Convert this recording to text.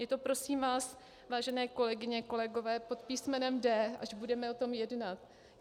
Je to, prosím vás, vážené kolegyně, kolegové, pod písm. D, až budeme o tom jednat.